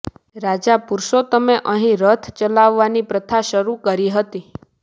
રાજા પુરૂષોત્તમે અહીં રથ ચલાવવાની પ્રથા શરૂ કરી હતી